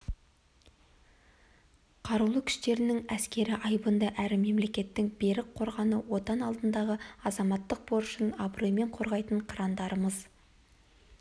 қарулы күштерінің әскері айбынды әрі мемлекеттің берік қорғаны отан алдындағы азаматтық борышын абыроймен қорғайтын қырандарымыз